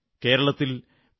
കേരളത്തിൽ പി